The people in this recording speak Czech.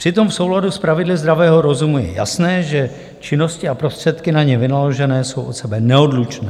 Přitom v souladu s pravidly zdravého rozumu je jasné, že činnosti a prostředky na ně vynaložené jsou od sebe neodlučné.